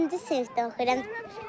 Dördüncü sinifdə oxuyuram.